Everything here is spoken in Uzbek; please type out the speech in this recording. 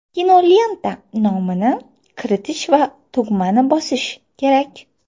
Kinolenta nomini kiritish va tugmani bosish kerak.